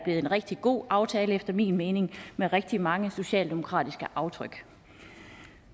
en rigtig god aftale efter min mening med rigtig mange socialdemokratiske aftryk